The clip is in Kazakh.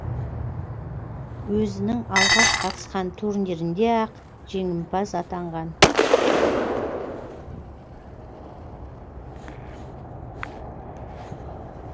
өзінің алғаш қатысқан турнирінде ақ жеңімпаз атанған